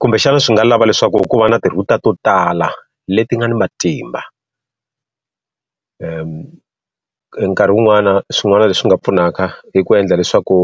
Kumbexana swi nga lava leswaku ku va na ti-router to tala leti nga ni matimba. Nkarhi wun'wani swin'wana leswi nga pfunaka i ku endla leswaku